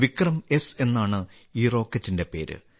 വിക്രംഎസ് എന്നാണ് ഈ റോക്കറ്റിന്റെ പേര്